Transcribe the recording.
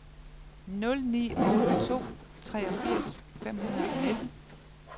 nul ni otte to treogfirs fem hundrede og nitten